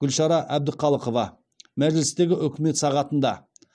гүлшара әбдіқалықова мәжілістегі үкімет сағатында